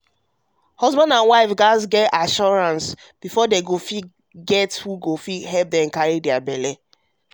to find help to fit carry belle ehnn dey give both husband and wife assurance you get